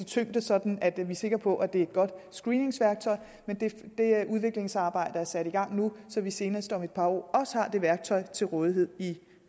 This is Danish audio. tyngde sådan at vi er sikre på at det er et godt screeningsværktøj men det udviklingsarbejde er sat i gang nu så vi senest om et par år også har det værktøj til rådighed i